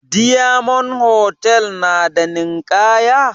Diyamond hotal na da ninkaya?